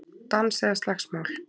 Dans eða slagsmál